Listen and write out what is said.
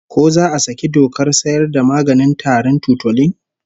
Ko za a saki dokar sayar da maganin tarin Tutolin?